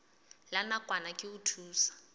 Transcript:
la nakwana ke ho thusa